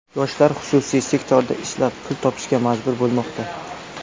Yoshlar xususiy sektorda ishlab, pul topishga majbur bo‘lmoqda.